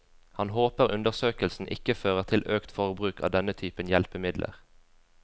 Han håper undersøkelsen ikke fører til økt forbruk av denne typen hjelpemidler.